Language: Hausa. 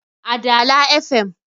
a Dala fm